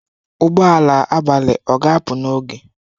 Ụgbọ ala abalị ọ ga-apụ n'oge?